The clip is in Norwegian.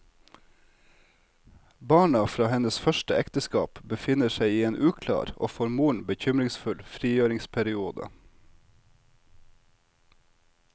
Barna fra hennes første ekteskap befinner seg i en uklar og for moren bekymringsfull frigjøringsperiode.